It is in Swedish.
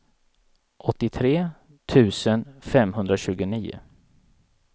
åttiotre tusen femhundratjugonio